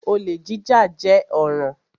Olè jíjà jẹ́ ọ̀ràn.